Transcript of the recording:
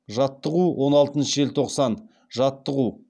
жаттығу он алтыншы желтоқсан жаттығу